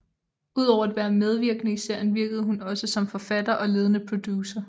Udover at være medvirkende i serien virkede hun også som forfatter og ledende producer